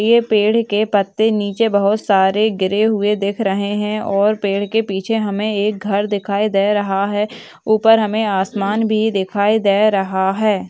यह पेड़ के पत्ते नीचे बहुत सारे गिरे हुए दिख रहे हैं और पेड़ के पीछे हमें एक घर दिखाई दे रहा है ऊपर हमें आसमान भी दिखाई दे रहा है।